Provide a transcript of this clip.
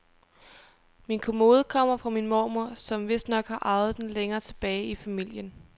Min kommode kommer fra min mormor, som vistnok har arvet den længere tilbage i familien.